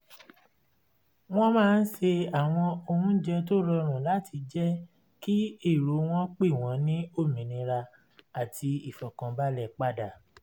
wọ́n máa ń se àwọn oúnjẹ tó rọrùn láti jẹ kí èrò wọn pé wọ́n ní òmìnira àti ìfọ̀kànbalẹ̀ padà